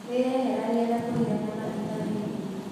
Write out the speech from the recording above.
Wĩyeheranie na kũrĩa nyama ĩtarĩhĩu.